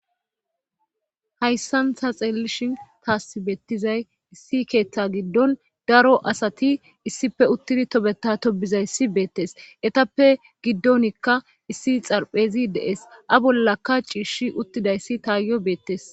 Hayssan ta xeellishin taasi bettizay issi keeththa giddon daro asati issippe uttidi tobeta tobizayssi beettes ettappe giddonikka issi xarphezi dees bollakka ciishi uttidayssi taayiyo beettes